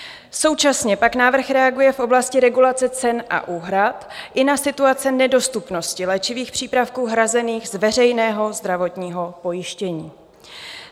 Současně pak návrh reaguje v oblasti regulace cen a úhrad i na situace nedostupnosti léčivých přípravků hrazených z veřejného zdravotního pojištění.